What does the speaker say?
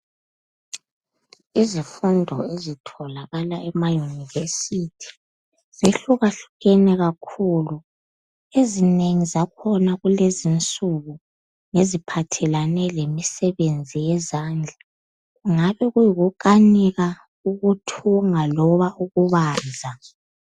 Izifundo ezitholakala ema university zihlukahlukene kakhulu. Ezinengi zakhona kulezi insuku, ngeziphathelene lemisebenzi yezandla. Kungabe, kuyikukanika, ukuthunga loba ukubaza.